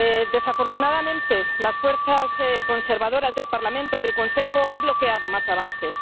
Desafortunadamente las fuerzas conservadoras del Parlamento y el Consejo han bloqueado más avances.